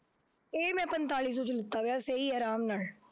ਇਹ ਮੈਂ ਪੰਤਾਲੀ ਸੋਂ ਚ ਲੀਤਾ ਹੋਇਆ, ਸਹੀ ਹੈ ਆਰਾਮ ਨਾਲ,